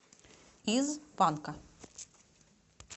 из панка